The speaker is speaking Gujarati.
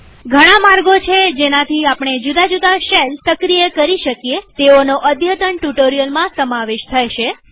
ઘણા માર્ગો છે જેનાથી આપણે જુદા જુદા શેલ્સ સક્રિય કરી શકીએતેઓનો અદ્યતન ટ્યુ્ટોરીઅલમાં સમાવેશ થશે